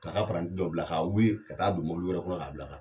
K'a ka dɔ bila k'a wuli ka taa don i wɛrɛ kɔnɔ k'a bila ka taa.